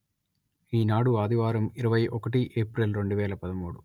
ఈనాడు ఆదివారం ఇరవై ఒకటి ఏప్రిల్ రెండు వేల పదమూడు